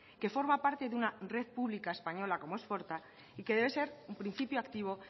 que forma parte de una red pública española como es forta y que debe ser un principio activo